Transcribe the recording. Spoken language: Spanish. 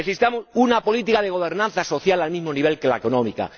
necesitamos una política de gobernanza social al mismo nivel que la económica